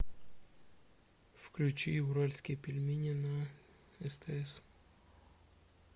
включи уральские пельмени на стс